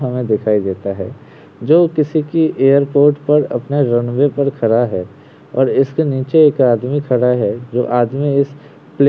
जो किसी की एयरपोर्ट पर अपने रनवे पर खड़ा है और इसके नीचे एक आदमी खड़ा है जो आदमी इस प्लेन की ओर ही देख रहा है।